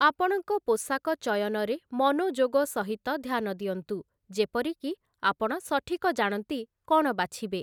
ଆପଣଙ୍କ ପୋଷାକ ଚୟନରେ ମନୋଯୋଗ ସହିତ ଧ୍ୟାନ ଦିଅନ୍ତୁ, ଯେପରିକି ଆପଣ ସଠିକ ଜାଣନ୍ତି କ'ଣ ବାଛିବେ ।